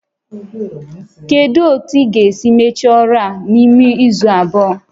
Kedu otu ị ga-esi mechaa ọrụ a n'ime izu abụọ?